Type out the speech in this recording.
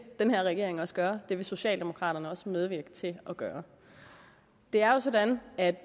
den her regering også gøre det vil socialdemokraterne også medvirke til at gøre det er jo sådan at